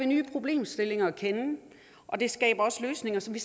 nye problemstillinger at kende og det skaber også løsninger som vi